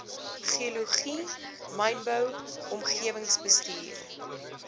geologie mynbou omgewingsbestuur